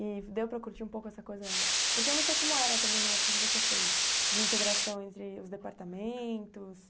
E deu para curtir um pouco essa coisa, porque eu não sei como era também na época que você fez, de integração entre os departamentos.